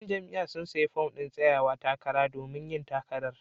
Yan jam'iyyar sun sayi fom din tsayawa takara domin yin takara.